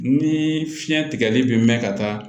Ni fiɲɛ tigɛli bɛ mɛn ka taa